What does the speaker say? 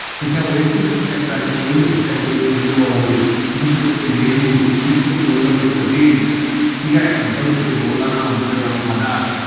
तर या वैयक्तिक सत्याग्रहाचे पहिले सत्याग्रही होते, विनोबा भावे. दुसरे होते, नेहरू. तिसरे होते वल्लभभाई पटेल. ठीके आणि चौथे होते, मौलाना अब्दुल कलाम आझाद.